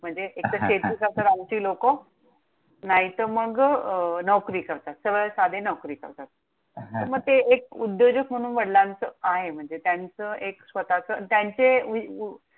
एक तर शेती करतात आमची लोकं. नाहीतर मग नोकरी करतात, सरळ साधी नोकरी करतात. मग ते एक उद्योजक म्हणून वडिलांचं आहे. म्हणजे त्यांचं एक स्वतःच, त्यांचे